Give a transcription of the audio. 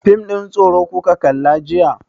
Fim ɗin tsoro kuka kalla jiya?